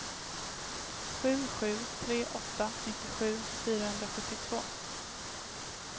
sju sju tre åtta nittiosju fyrahundrasjuttiotvå